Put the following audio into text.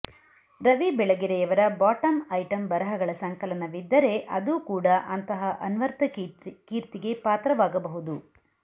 ರವಿ ಬೆಳಗೆರೆಯವರ bottom item ಬರಹಗಳ ಸಂಕಲನವಿದ್ದರೆ ಅದು ಕೂಡ ಅಂತಹ ಅನ್ವರ್ಥಕೀರ್ತಿಗೆ ಪಾತ್ರವಾಗಬಹುದು